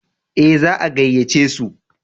Ee, za a gayyace su.